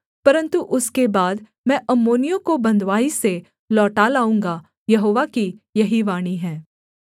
परन्तु उसके बाद मैं अम्मोनियों को बँधुआई से लौटा लाऊँगा यहोवा की यही वाणी है